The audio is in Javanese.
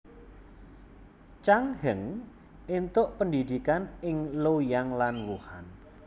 Chang Heng entuk pendhidhikan ing Luoyang lan Wuhan